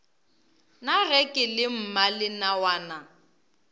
na ge ke le mmalenawana